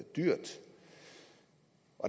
dyrt